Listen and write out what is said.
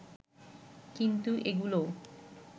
কিন্তু এগুলোও